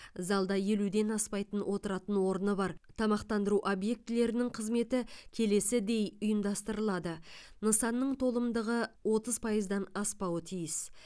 залда елуден аспайтын отыратын орны бар тамақтандыру объектілерінің қызметі келесідей ұйымдастырылады нысанның толымдығы отыз пайыздан аспауы тиіс